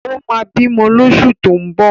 Ó ma bímọ lóṣù tó ń bọ̀